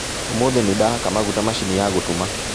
ũmũthĩ nĩndahaka maguta macini ya gũtuma